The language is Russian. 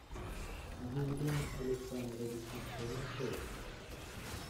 юрием александровичем толмачевым